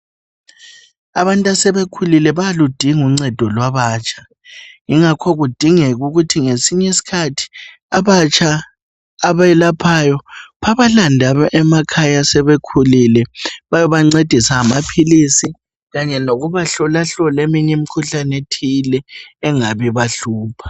Abantu asebekhulile bayaludinga uncedo lwabatsha yingakho kudingeka ukuthi ngesinye iskhathi abatsha abelaphayo babalande emakhaya asebekhulile bayobancedisa ngamaphilisi kanye lokubahlolahlola eminye imkhuhlane ethile engabi bahlupha.